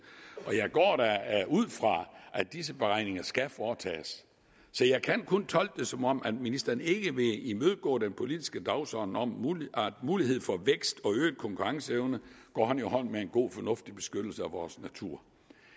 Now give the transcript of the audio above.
jeg går da ud fra at disse beregninger skal foretages så jeg kan kun tolke det som om ministeren ikke vil imødegå den politiske dagsorden om at mulighed for vækst og øget konkurrenceevne går hånd i hånd med en god fornuftig beskyttelse af vores natur